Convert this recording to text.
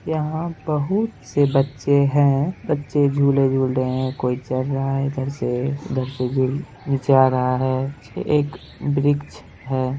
यहाँ बहुत से बच्चे हैं बच्चे झूले-झूल रहे हैं कोई चढ़ रहा है इधर से उधर से झूल नीचे आ रहा है एक वृक्ष है।